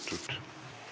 Küsimus on esitatud.